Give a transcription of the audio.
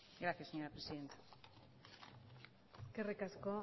gracias señora presidenta eskerrik asko